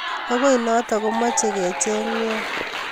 okoi noto kemochei kecheng nai